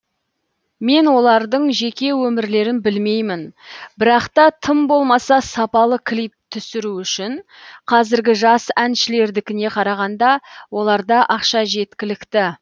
мен олардың жеке өмірлерін білмеймін бірақ та тым болмаса сапалы клип түсіру үшін қазіргі жас әншілердікіне қарағанда оларда ақша жеткілікті